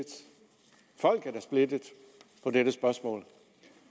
folk er splittet på dette spørgsmål